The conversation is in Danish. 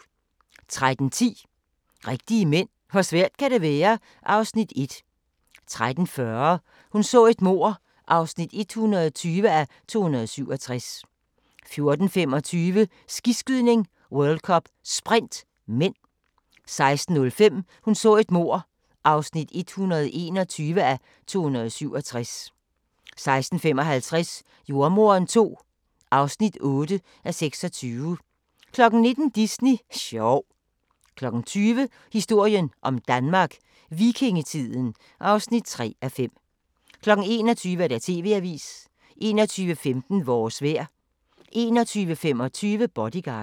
13:10: Rigtige mænd - hvor svært kan det være? (Afs. 1) 13:40: Hun så et mord (120:267) 14:25: Skiskydning: World Cup - Sprint (m) 16:05: Hun så et mord (121:267) 16:55: Jordemoderen II (8:26) 19:00: Disney sjov 20:00: Historien om Danmark: Vikingetiden (3:5) 21:00: TV-avisen 21:15: Vores vejr 21:25: Bodyguard